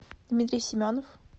дмитрий семенов